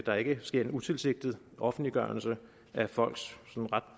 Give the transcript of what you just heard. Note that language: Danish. der ikke sker en utilsigtet offentliggørelse af folks sådan ret